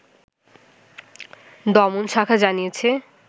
দমন শাখা জানিয়েছে